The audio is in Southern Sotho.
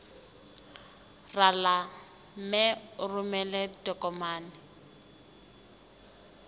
rala mme o romele ditokomene